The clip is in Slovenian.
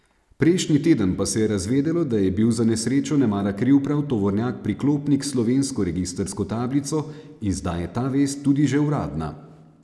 Prejšnji teden pa se je razvedelo, da je bil za nesrečo nemara kriv prav tovornjak priklopnik s slovensko registrsko tablico, in zdaj je ta vest tudi že uradna.